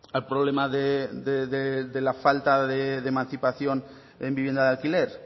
al problema de la falta de emancipación en vivienda de alquiler